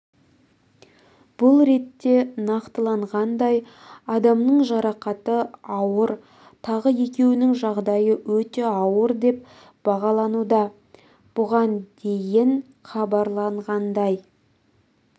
бұл ретте нақтыланғандай адамның жарақаты ауыр тағы екеуінің жағдайы өте ауыр деп бағалануда бұған дейін хабарланғандай